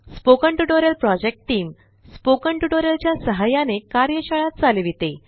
spoken tutorial project team spoken tutorial च्या सहाय्याने कार्यशाळा चालविते